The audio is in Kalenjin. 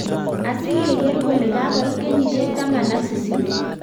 asigegeer kole kagoit kenyishiek taman ak sisit